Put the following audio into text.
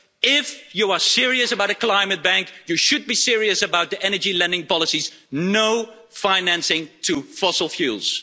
If you are serious about a climate bank, you should be serious about the energy lending policies no financing to fossil fuels.